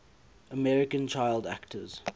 american child actors